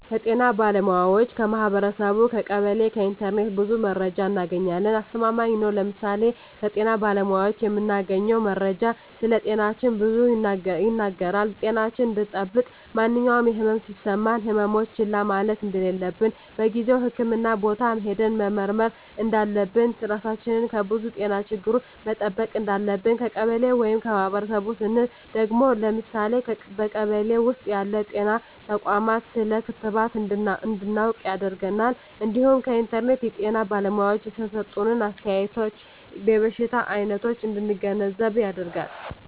ከጤና ባለሙያዎች ,ከማህበረሰቡ , ከቀበሌ ,ከኢንተርኔት ብዙ መረጃ እናገኛለን። አስተማማኝ ነው ለምሳሌ ከጤና ባለሙያዎች የምናገኘው መረጃ ስለጤናችን ብዙ ይናገራል ጤናችን እንድጠብቅ ማንኛውም የህመም የሚሰማን ህመሞች ችላ ማለት እንደለለብን በጊዜው ህክምህና ቦታ ሄደን መመርመር እንዳለብን, ራሳችን ከብዙ የጤና ችግሮች መጠበቅ እንዳለብን። ከቀበሌ ወይም ከማህበረሰቡ ስንል ደግሞ ለምሳሌ በቀበሌ ውስጥ ያሉ ጤና ተቋማት ስለ ክትባት እንድናውቅ ያደርገናል እንዲሁም ከኢንተርኔት የጤና ባለሙያዎች የሰጡትን አስተያየት የበሽታ አይነቶች እንድንገነዘብ ያደርጋል።